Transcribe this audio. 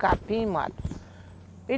Capim, mato.